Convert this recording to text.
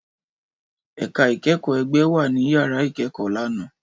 Ẹka ikẹkọ ẹgbẹ wa ni yara ikẹkọ lana.